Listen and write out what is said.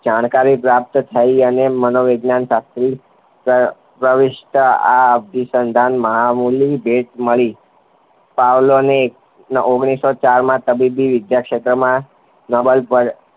જાણકારી પ્રાપ્ત થઇ અને માનો વૈજ્ઞાન શાસ્ત્રી પ્ર પ્રવિષ્ટ આ અભીસંધાન માં ભેટ મળી પાવલોને ઓગણીસો ચારમાં તબીબી વિદ્યા ક્ષેત્રમાં નોબલ પર